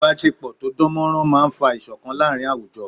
Ìbásepọ̀ tó dán mọ́rán máa n fa ìṣọ̀kan láàrin àwùjọ